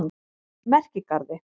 Merkigarði